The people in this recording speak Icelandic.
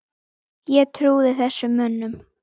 Ég trúði þessum mönnum.